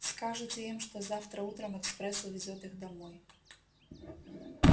скажете им что завтра утром экспресс увезёт их домой